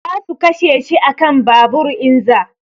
Za su kashe shi a kan babur in za